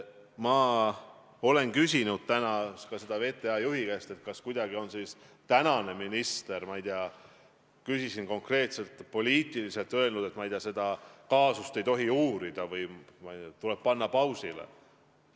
Ma küsisin täna ka VTA juhi käest, kas praegune minister on kuidagi – ma ei tea, küsisin konkreetselt – poliitiliselt öelnud, et seda kaasust ei tohi uurida või, ma ei tea, see tuleb panna pausile.